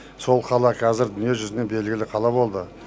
сол қала қазір дүние жүзіне белгілі қала болды